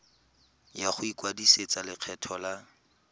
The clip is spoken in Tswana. ya go ikwadisetsa lekgetho la